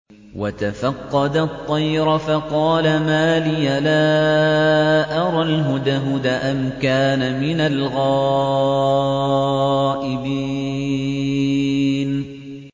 وَتَفَقَّدَ الطَّيْرَ فَقَالَ مَا لِيَ لَا أَرَى الْهُدْهُدَ أَمْ كَانَ مِنَ الْغَائِبِينَ